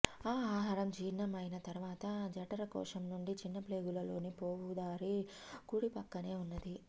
ఆ ఆహారం జీర్ణం అయిన తరువాత జఠరకోశం నుండి చిన్నప్రేగులలోకి పోవుదారి కుడిపక్కనే ఉన్నది